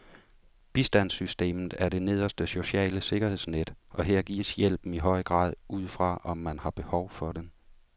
Bistandssystemet er det nederste sociale sikkerhedsnet, og her gives hjælpen i høj grad ud fra, om man har behov for den.